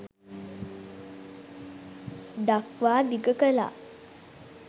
දක්වා දිග කලා